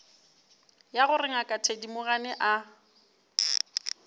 ya gore ngaka thedimogane a